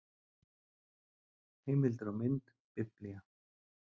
Heimildir og mynd Biblía.